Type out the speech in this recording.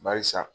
Bari sa